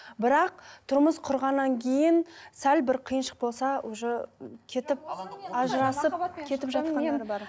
бірақ тұрмыс құрғаннан кейін сәл бір қиыншылық болса уже кетіп ажырасып кетіп жатқандар бар